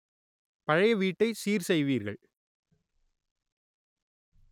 பழைய வீட்டை சீர் செய்வீர்கள்